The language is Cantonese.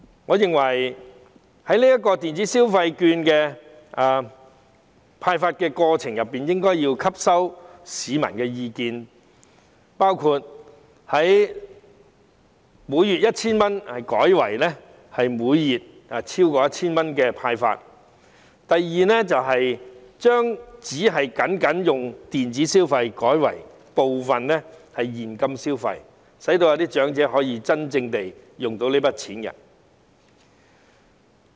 我認為政府在電子消費券的派發過程中，應吸納市民的意見，包括由每月派發 1,000 元改為超過 1,000 元，以及把款額僅作電子消費改為部分是現金消費，讓長者可以真正使用這筆金錢。